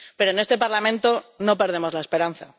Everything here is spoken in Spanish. Pero en este Parlamento no perdemos la esperanza.